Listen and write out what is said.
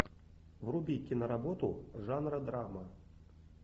вруби киноработу жанра драма